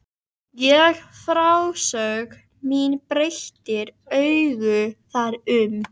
Og frásögn mín breytir engu þar um.